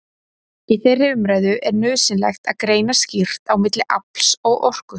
Í þeirri umræðu er nauðsynlegt að greina skýrt á milli afls og orku.